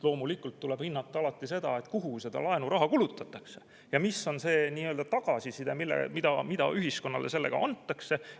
Loomulikult tuleb alati hinnata seda, kus seda laenuraha kulutatakse ja mis on see, mida ühiskonnale sellega antakse.